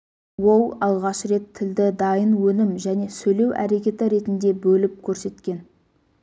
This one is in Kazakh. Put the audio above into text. ол алғаш рет тілді дайын өнім және сөйлеу әрекеті ретінде бөліп көрсеткен